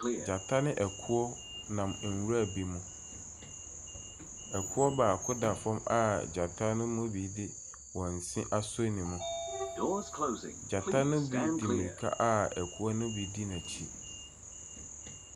Gyata ne ɛkoɔ nam nwura bi mu. Ɛkoɔ baako da fam a gyata no mu bi ɛde wɔn se asɔ ne mu. Gyata ne bi di mmirika a ɛkoɔ ne bi di n'akyi.